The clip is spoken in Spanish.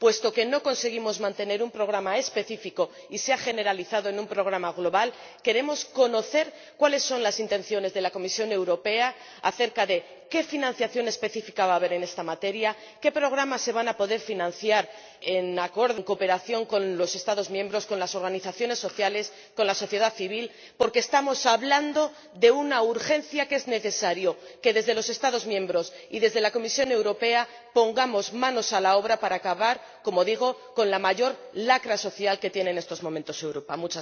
Puesto que no conseguimos mantener un programa específico y se ha generalizado en un programa global, queremos conocer cuáles son las intenciones de la Comisión Europea acerca de qué financiación específica va a haber en esta materia, qué programas se van a poder financiar en cooperación con los Estados miembros, con las organizaciones sociales, con la sociedad civil, porque estamos hablando de una urgencia, por lo que es necesario que, desde los Estados miembros y desde la Comisión Europea, nos pongamos manos a la obra para acabar, como digo, con la mayor lacra social que tiene en estos momentos Europa.